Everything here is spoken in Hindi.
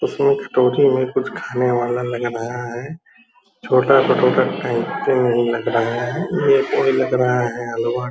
इसमें कटोरी में कुछ खाने वाला लग रहा है --